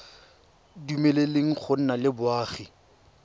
dumeleleng go nna le boagi